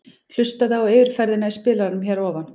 Hlustaðu á yfirferðina í spilaranum hér að ofan.